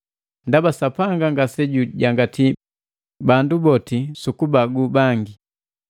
Ndaba Sapanga ngase jujangati bandu boti sukubagu bangi.